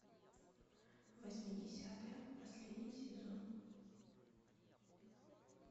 восьмидесятые последний сезон